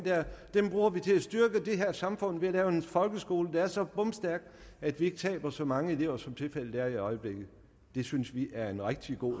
der bruger vi til at styrke det her samfund med ved at lave en folkeskole der er så bomstærk at vi ikke taber så mange elever som tilfældet er i øjeblikket det synes vi er en rigtig god